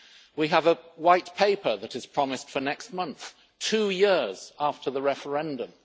We have a White Paper that is promised for next month two years after the referendum.